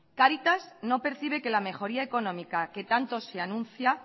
cáritas no percibe que la mejoría económica que tanto se anuncia